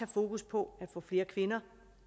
fokus på at få flere kvinder